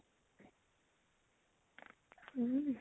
উম